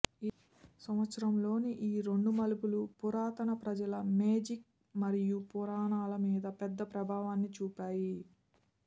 సంవత్సరంలోని ఈ రెండు మలుపులు పురాతన ప్రజల మేజిక్ మరియు పురాణాల మీద పెద్ద ప్రభావాన్ని చూపాయి